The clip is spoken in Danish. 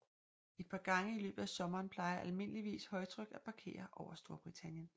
Et par gange i løbet af sommeren plejer almindeligvis højtryk at parkere over Storbritannien